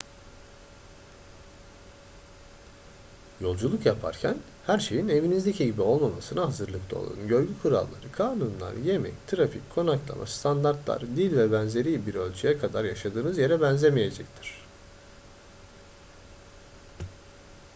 yolculuk yaparken her şeyin evinizdeki gibi olmamasına hazırlıklı olun . görgü kuralları kanunlar yemek trafik konaklama standartlar dil vb. bir ölçüye kadar yaşadığınız yere benzemeyecektir